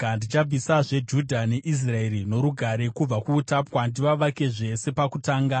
Ndichabvisazve Judha neIsraeri norugare kubva kuutapwa ndivavakezve sepakutanga.